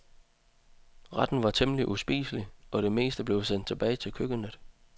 Retten var temmelig uspiselig, og det meste blev sendt tilbage til køkkenet.